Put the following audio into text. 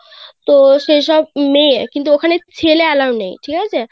তো সেই সব মেয়ে কিন্তু ওখানে ছেলে Allow নেই ঠিক আছে.